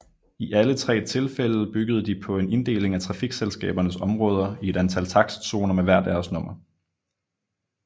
I alle tre tilfælde byggede de på en inddeling af trafikselskabernes områder i et antal takstzoner med hver deres nummer